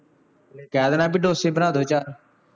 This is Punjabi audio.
ਕਹਿ ਦੇਣਾ ਬਈ ਡੋਸੇ ਬਣਾ ਦਿਉ ਚਾਰ